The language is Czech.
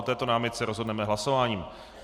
O této námitce rozhodneme hlasováním.